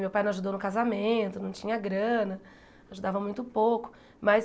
Meu pai não ajudou no casamento, não tinha grana, ajudava muito pouco mas.